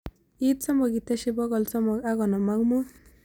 Iit somok iteshi bogolmsomok ak gonom ak mut